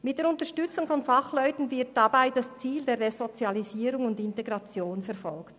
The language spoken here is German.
Mit der Unterstützung von Fachleuten wird das Ziel der Resozialisierung und Integration verfolgt.